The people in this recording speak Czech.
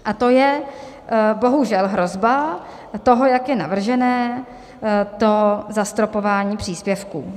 A to je bohužel hrozba toho, jak je navržené to zastropování příspěvků.